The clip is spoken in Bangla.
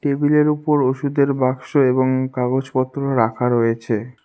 টেবিলের ওপর ওষুধের বাক্স এবং কাগজপত্র রাখা রয়েছে।